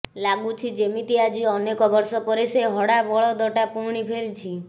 ଲାଗୁଛି ଯେମିତି ଆଜି ଅନେକ ବର୍ଷ ପରେ ସେ ହଡ଼ା ବଳଦଟା ପୁଣି ଫେରିଛି